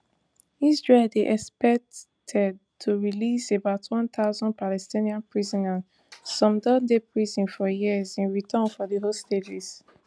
israel dey expected to release about one thousand palestinian prisoners some don dey prison for years in return for di hostages